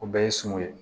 O bɛɛ ye suman ye